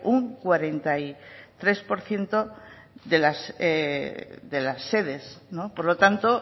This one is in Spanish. un cuarenta y tres por ciento de las sedes por lo tanto